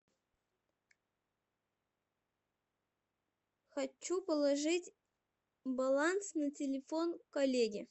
хочу положить баланс на телефон коллеги